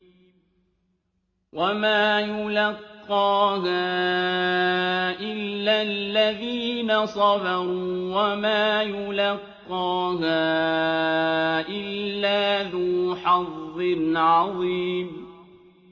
وَمَا يُلَقَّاهَا إِلَّا الَّذِينَ صَبَرُوا وَمَا يُلَقَّاهَا إِلَّا ذُو حَظٍّ عَظِيمٍ